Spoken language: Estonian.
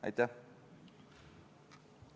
Aitäh!